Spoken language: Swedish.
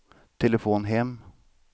telefon hem